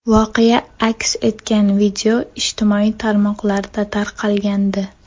Voqea aks etgan video ijtimoiy tarmoqlarda tarqalgandi.